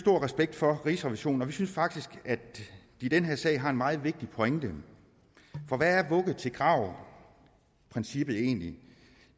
respekt for rigsrevisionen og vi synes faktisk at de i den her sag har en meget vigtig pointe for hvad er vugge til grav princippet egentlig